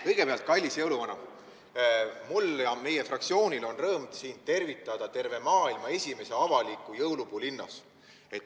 Kõigepealt, kallis jõuluvana, on mul ja meie fraktsioonil rõõm sind tervitada terve maailma esimese avaliku jõulupuu linnas.